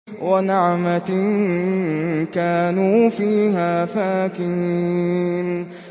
وَنَعْمَةٍ كَانُوا فِيهَا فَاكِهِينَ